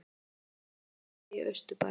Funda um vesturbæ í austurbæ